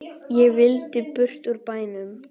Ég vildi burt úr bænum.